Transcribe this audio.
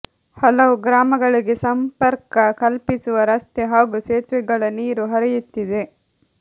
ಹಲವು ಗ್ರಾಮಗಳಿಗೆ ಸಂಪರ್ಕ ಕಲ್ಪಿಸುವ ರಸ್ತೆ ಹಾಗೂ ಸೇತುವೆಗಳ ನೀರು ಹರಿಯುತ್ತಿದೆ